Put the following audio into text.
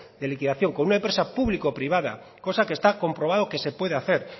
de liquidación con una empresa público privada cosa que está comprobado que se puede hacer